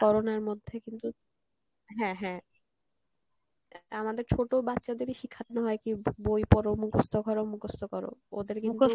Corona র মধ্যে কিন্তু, হ্যাঁ হ্যাঁ, আমাদের ছোটো বাচ্চাদেরই শিখানো হয় কী বই পড় মুখস্ত করো মুখস্ত করো ওদের কিন্তু